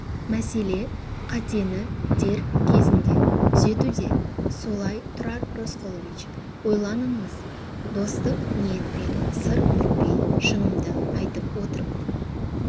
мәселе қатені дер кезінде түзетуде солай тұрар рысқұлович ойланыңыз достық ниетпен сыр бүкпей шынымды айтып отырмын